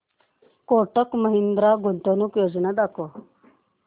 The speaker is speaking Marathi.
कोटक महिंद्रा गुंतवणूक योजना दाखव